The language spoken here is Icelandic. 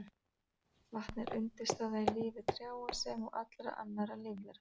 Vatn er undirstaða í lífi trjáa sem og allra annarra lífvera.